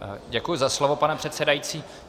Děkuji za slovo, pane předsedající.